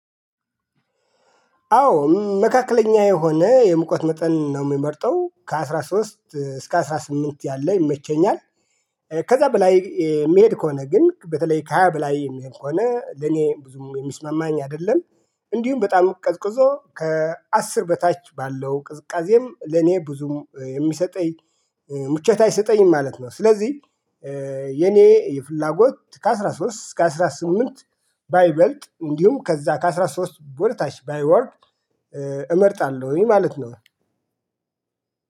አዎ መካከለኛ የሆነ ሙቀት መጠን ነው የምመርጠው ከአሥራ ሶስት እስከ አስራ ስምንት ያለ ይመቸኛል። ከዛ በላይ የሚሄድ ከሆነ ግን በተለይ ከሃያ በላይ የሚሄድ ከሆነ ለኔ ብዙም የሚስማማኝ አይደለም። እንዲሁም በጣም ቀዝቅዞ ከአስር በታች ባለው ቅዝቃዜም ለኔ ብዙም የሚሰጠኝ ምቾት አይሰጠኝም ማለት ነው። ስለዚህ የኔ የፍላጎት ከአሥራ ሶስት እስከ አስራ ስምንት ባይበልጥ እንዲሁም ከዛ ከአሥራ ሶስት ወደታች ባይወርድ እመርጣለሁኝ ማለት ነው